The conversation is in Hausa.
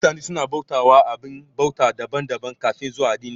Mutane su na bauta wa abin bauta daban daban kafin zuwan addini